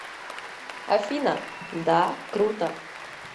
афина да круто